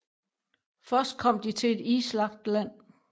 Først kom de til et islagt land